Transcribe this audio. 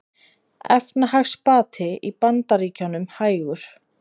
Efnahagsbati í Bandaríkjunum hægur